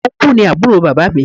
Ọnkú ni àbúrò bàbá mi.